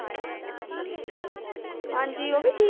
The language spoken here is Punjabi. ਹਾਂਜੀ ਉਹ ਵੀ